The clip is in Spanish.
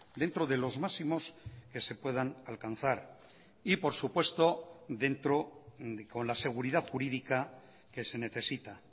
dentro de los máximos que se puedan alcanzar y por supuesto dentro con la seguridad jurídica que se necesita